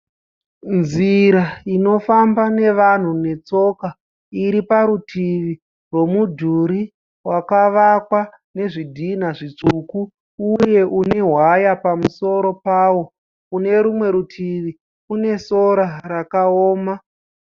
Nzira inofamba nevanhu netsoka iri parutivi rwomudhuri wakavakwa nezvidhina zvitsvuku uye une waya pamusoro pawo, kune rumwe rutivi kune sora rakaoma